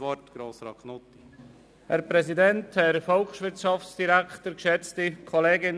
Sie haben das Wort, Grossrat Knutti.